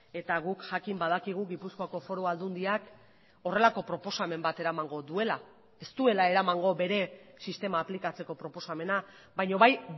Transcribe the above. eta guk jakin badakigu gipuzkoako foru aldundiak horrelako proposamen bat eramango duela ez duela eramango bere sistema aplikatzeko proposamena baina bai